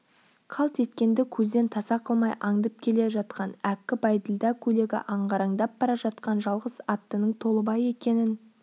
қалт еткенді көзден таса қылмай андып келе жатқан әккі бәйділда көйлегі ағараңдап бара жатқан жалғыз аттының толыбай екенін